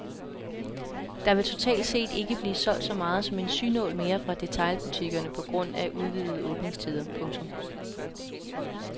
Der vil totalt set ikke blive solgt så meget som en synål mere fra detailbutikkerne på grund af udvidede åbningstider. punktum